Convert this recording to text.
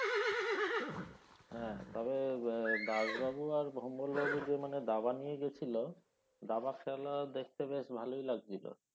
হ্যাঁ তবে দাস বাবু আর ভোম্বল বাবু যে মানে দাবা নিয়ে গেছিল দাবা খেলা দেখতে বেশ ভালই লাগছিল